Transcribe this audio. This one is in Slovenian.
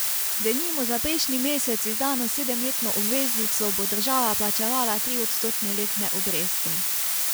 Denimo za prejšnji mesec izdano sedemletno obveznico bo država plačevala triodstotne letne obresti.